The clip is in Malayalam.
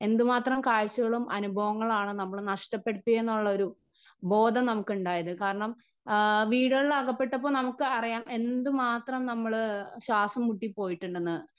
സ്പീക്കർ 1 എന്തുമാത്രം കാഴ്ചകളും അനുഭവങ്ങളാണ് നമ്മള് നഷ്ടപ്പെടുത്തി എന്നുള്ളൊരു ബോധം നമുക് ഉണ്ടായത് കാരണം ആ വീടുകളിൽ അകപ്പെട്ടപ്പോ നമുക്കറിയാം എന്തുമാത്രം നമ്മള് ശ്വാസംമുട്ടിപോയിട്ടുണ്ടെന്ന്.